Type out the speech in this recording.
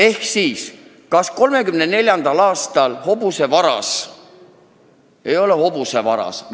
Ehk siis: kas 1934. aastal hobusevaras ei olnud hobusevaras?